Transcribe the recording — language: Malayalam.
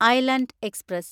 island express